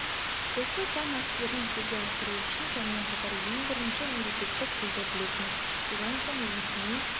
осы заң актілерін жүзеге асыру үшін сонымен қатар ең бірінші мемлекеттік тілді білетін содан соң ресми